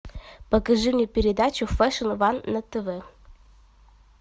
покажи мне передачу фэшн ван на тв